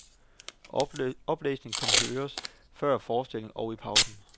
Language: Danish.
Oplæsningen kan høres før forestillingen og i pausen.